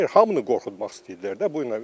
Hamını qorxutmaq istəyirdilər də bununla.